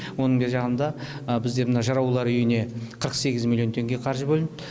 оның бергі жағында бізде мына жыраулар үйіне қырық сегіз миллион теңге қаржы бөлінді